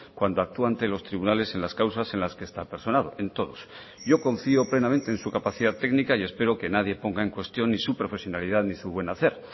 cuando actúa ante los tribunales en las causas en las que está personado en todos yo confío plenamente en su capacidad técnica y espero que nadie ponga en cuestión ni su profesionalidad ni su buen hacer